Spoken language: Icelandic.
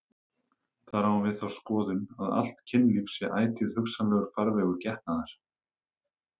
Þar á hún við þá skoðun að allt kynlíf sé ætíð hugsanlegur farvegur getnaðar.